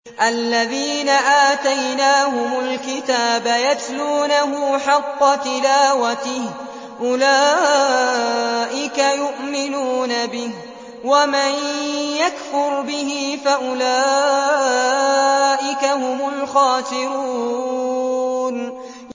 الَّذِينَ آتَيْنَاهُمُ الْكِتَابَ يَتْلُونَهُ حَقَّ تِلَاوَتِهِ أُولَٰئِكَ يُؤْمِنُونَ بِهِ ۗ وَمَن يَكْفُرْ بِهِ فَأُولَٰئِكَ هُمُ الْخَاسِرُونَ